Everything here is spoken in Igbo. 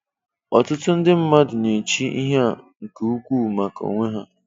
Ọtụtụ ndị mmadụ na-échi ịhe á nke ukwuu maka onwe há.